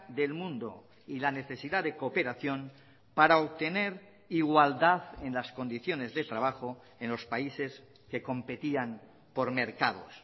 del mundo y la necesidad de cooperación para obtener igualdad en las condiciones de trabajo en los países que competían por mercados